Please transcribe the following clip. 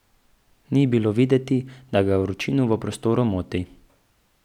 Ni bilo videti, da ga vročina v prostoru moti.